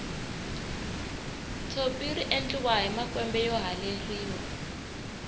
tshopi riendliwa hi makwembe yo haleriwa